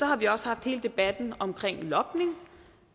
har vi også haft hele debatten omkring logning